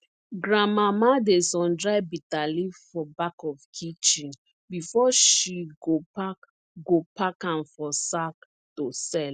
grandmama dey sun dry bitterleaf for back of kitchen before she go pack go pack am for sack to sell